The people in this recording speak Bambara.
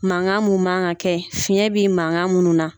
Mankan mun man kan ka kɛ fiyɛn bɛ mankan minnu na